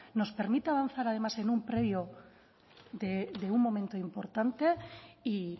nos permite avanzar además en un previo de un momento importante y